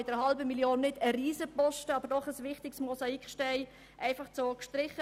Mit dieser Massnahme wird zwar kein Riesenbetrag gestrichen, aber doch ein wichtiges Mosaiksteinchen.